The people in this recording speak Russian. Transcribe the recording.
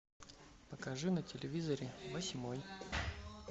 покажи на телевизоре восьмой